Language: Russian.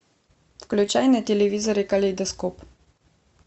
включай на телевизоре калейдоскоп